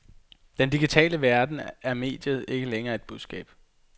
I den digitale verden er mediet ikke længere budskabet.